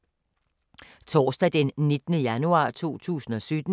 Torsdag d. 19. januar 2017